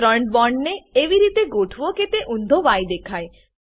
ત્રણ બોન્ડ ને એવી રીતે ગોઠવો કે તે ઊંધો ય દેખાય